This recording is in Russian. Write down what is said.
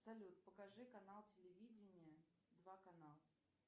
салют покажи канал телевидения два канал